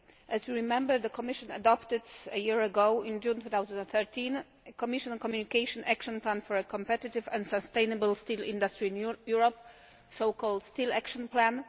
As you remember, the Commission adopted a year ago, in June 2013, a Commission Communication Action Plan for a Competitive and Sustainable Steel Industry in Europe, the so called Steel Action Plan.